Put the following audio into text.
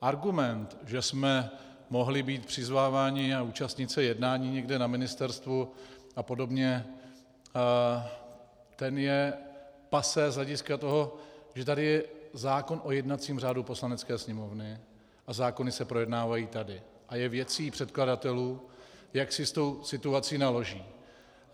Argument, že jsme mohli být přizváváni a účastnit se jednání někde na ministerstvu a podobně, ten je passé z hlediska toho, že tady je zákon o jednacím řádu Poslanecké sněmovny a zákony se projednávají tady a je věcí předkladatelů, jak si s tou situací naloží.